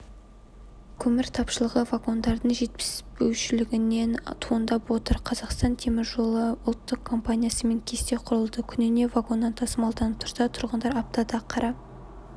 көмір тапшылығы вагондардың жетіспеушілігінен туындап отыр қазір қазақстан темір жолы ұлттық компаниясымен кесте құрылды күніне вагоннан тасымалданып тұрса тұрғындар аптада қара